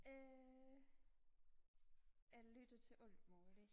øh jeg lytter til alt muligt